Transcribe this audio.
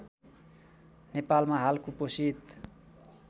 नेपालमा हाल कुपोषित